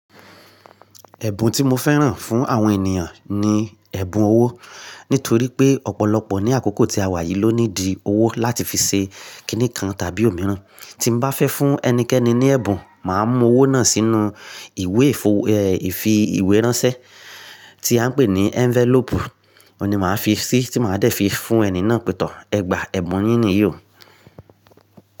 Ẹ̀bùn tí mo fẹ́ràn fún àwọn ènìyàn ni ẹ̀bùn owó. Nítorí pé ọ̀pọ̀lọpọ̀ ní àkókò tí a wà yìí ló need owó láti fi ṣe kíní kan tàbí òmíràn. Tí n bá fẹ́ fún ẹnikẹ́ni ní ẹ̀bùn, màá mú owó náà sínú ìwé ìfi ìwé ránṣẹ́ tí a ń pè ní envelope. Ó ni màá fi sí, tí màá dẹ̀ fi fún ẹni náà pẹ̀tọ́. Ẹ gba ẹ̀bùn yín ni yí ó.